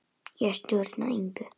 Ég stjórna engu.